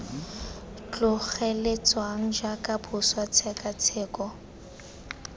tlogetsweng jaaka boswa jj tshekatsheko